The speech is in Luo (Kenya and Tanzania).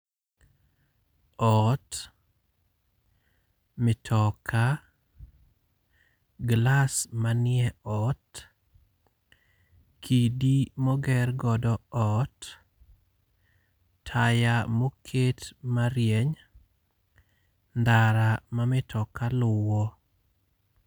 Ot, mitoka, glass manie ot, kidi moger godo ot, taya moket marieny, ndara ma mitoka luwo.